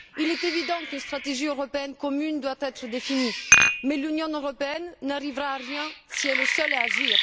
Il est évident qu'une stratégie européenne commune doit être définie, mais l'Union européenne n'arrivera à rien si elle est seule à agir.